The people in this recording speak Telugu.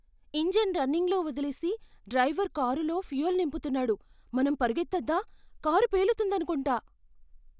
ఇంజన్ రన్నింగ్లో వదిలేసి డ్రైవర్ కారులో ఫ్యూయల్ నింపుతున్నాడు. మనం పరుగెత్తొద్దా? కారు పేలుతుందనుకుంటా.